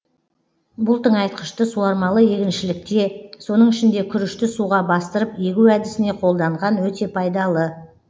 бұл тыңайтқышты суармалы егіншілікте соның ішінде күрішті суға бастырып егу әдісіне қолданған өте пайдалы